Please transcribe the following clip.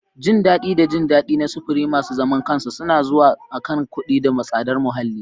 Jin daɗi da jin daɗi na sufuri masu zaman kansu suna zuwa akan kuɗi da tsadar muhalli.